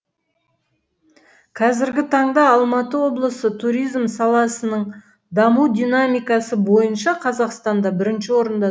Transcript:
қазіргі таңда алматы облысы туризм саласының даму динамикасы бойынша қазақстанда бірінші орында